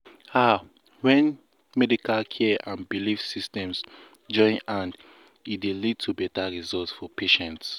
ah when medical care and belief systems join hand e dey lead to better result for patients.